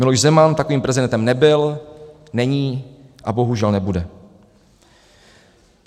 Miloš Zeman takovým prezidentem nebyl, není a bohužel nebude.